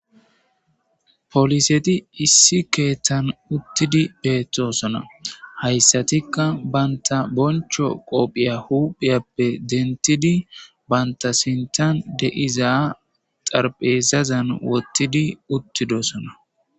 poliseti issi keeththan uttidi beettosona hayssatikka banta boncho qophiya huphiyappe dentidi banta sintan deiza xarpheezazan wottidi uttidosona